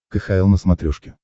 кхл на смотрешке